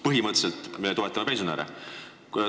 Põhimõtteliselt me toetame pensionäre.